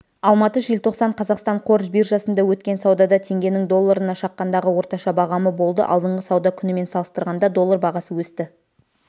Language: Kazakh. алматы желтоқсан қазақстан қор биржасында өткен саудада теңгенің долларына шаққандағы орташа бағамы болды алдыңғы сауда күнімен салыстырғанда доллар бағасы өсті